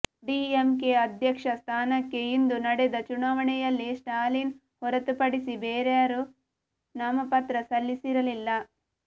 DMK ಅಧ್ಯಕ್ಷ ಸ್ಥಾನಕ್ಕೆ ಇಂದು ನಡೆದ ಚುನಾವಣೆಯಲ್ಲಿ ಸ್ಟಾಲಿನ್ ಹೊರತುಪಡಿಸಿ ಬೇರಾರೂ ನಾಮಪತ್ರ ಸಲ್ಲಿಸಿರಲಿಲ್ಲ